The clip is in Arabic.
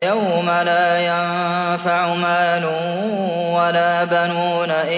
يَوْمَ لَا يَنفَعُ مَالٌ وَلَا بَنُونَ